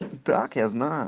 так я знаю